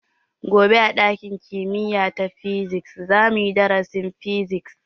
Gobe a ɗakin kimiya ta physics za mu yi darasin Physics.